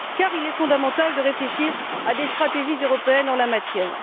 il est fondamental de réfléchir à des stratégies européennes en la matière.